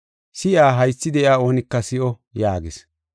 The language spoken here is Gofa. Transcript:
“Si7iya haythi de7iya oonika si7o” yaagis.